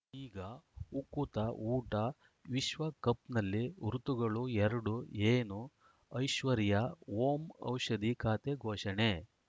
ಈಗ ಉಕುತ ಊಟ ವಿಶ್ವಕಪ್‌ನಲ್ಲಿ ಋತುಗಳು ಎರಡು ಏನು ಐಶ್ವರ್ಯಾ ಓಂ ಔಷಧಿ ಖಾತೆ ಘೋಷಣೆ